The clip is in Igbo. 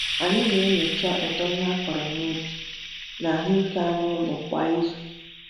Anyị na-enyocha uto ihe akụrụ n'ubi na ahụike anụ ụlọ kwa izu.